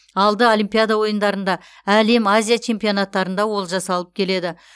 алды олимпиада ойындарында әлем азия чемпионаттарында олжа салып келеді